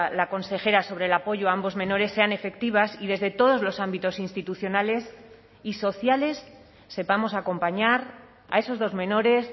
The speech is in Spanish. la consejera sobre el apoyo a ambos menores sean efectivas y desde todos los ámbitos institucionales y sociales sepamos acompañar a esos dos menores